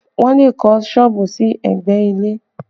Wọn le kọ́ sọ́ọ̀bù sí ẹgbẹ́ ilé